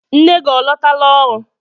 Nne gị ọ lọtala ọrụ?